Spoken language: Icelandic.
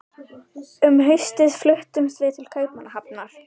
Um haustið fluttumst við til Kaupmannahafnar.